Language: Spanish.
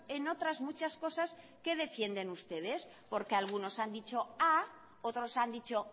en otras muchas cosas qué defiendes ustedes porque algunos han dicho a otros han dicho